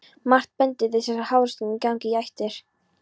Margt bendir til þess að háþrýstingur gangi í ættir.